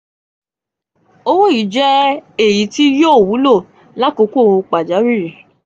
owo yii jẹ eyi ti yo wulo lakoko pajawiri.